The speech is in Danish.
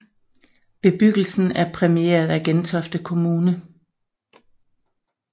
Bebyggelsen er præmieret af Gentofte Kommune